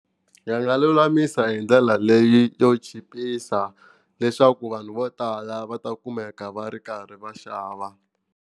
Yi nga lulamisa hi ndlela leyi yo chipisa leswaku vanhu vo tala va ta kumeka va ri karhi va xava.